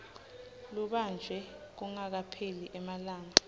lubanjwe kungakapheli emalanga